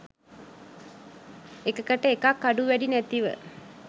එකකට එකක් අඩු වැඩි නැතිව